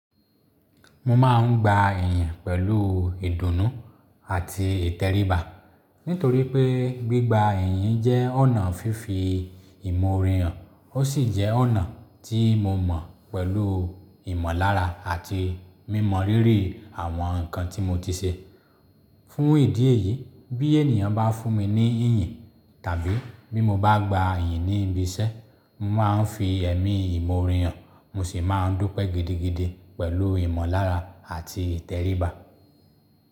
Mo máa ń gba ìyìn pẹ̀lú ìdùnnú àti ìtẹríba. Nítorí pé gbígba ìyìn jẹ́ ọ̀nà fífi ìmọ̀ ore han, ó sì jẹ́ ọ̀nà tí mo mọ̀ pẹ̀lú ìmọ̀lára àti mímọ rírì àwọn nǹkan tí mo ti ṣe. Fún ìdí èyí, bí ènìyàn bá fún mi ní ìyìn tàbí bí mo bá gba ìyìn ní ibi iṣẹ́, mo máa ń fi ẹ̀mí ìmore hàn, mo sì máa ń dúpẹ́ gidigidi pẹ̀lú ìmọ̀lára àti ìtẹríba.